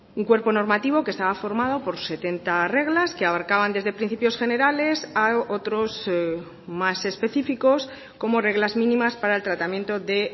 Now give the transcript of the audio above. un cuerpo normativo que estaba formado por setenta reglas que abarcaban desde principios generales a otros más específicos como reglas mínimas para el tratamiento de